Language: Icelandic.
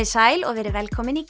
sæl og verið velkomin í